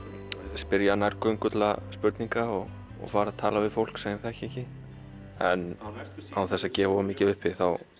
spyrja nærgöngulla spurninga og tala við fólk sem ég þekki ekki en án þess að gefa of mikið upp